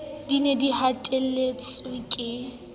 di ne di hatelletswe ka